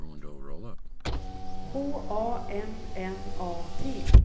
H A M N A T